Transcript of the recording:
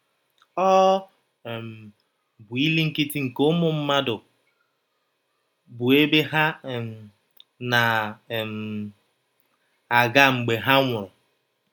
Ọ um bụ ili nkịtị nke ụmụ mmadụ, bụ́ ebe ha um na um - aga mgbe ha nwụrụ.